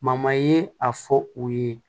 ye a fɔ u ye